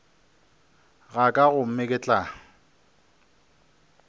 ga ka gomme ke tla